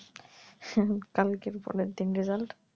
হা কালকের পরের দিন result